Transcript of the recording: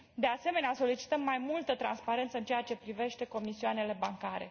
De asemenea, solicităm mai multă transparență în ceea ce privește comisioanele bancare.